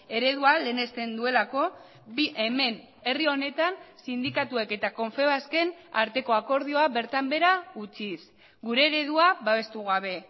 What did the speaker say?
eredua lehenesten duelako hemen herri honetan sindikatuek eta confebasken arteko akordioa bertan behera utziz gure eredua babestu gabe